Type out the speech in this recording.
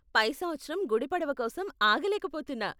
పై సంవత్సరం గుడి పడవ కోసం ఆగలేక పోతున్నా.